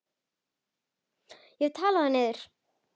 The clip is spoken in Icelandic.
Ég hef talað það niður.